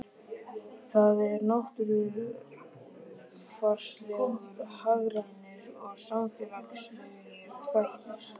Það eru náttúrufarslegir, hagrænir og samfélagslegir þættir.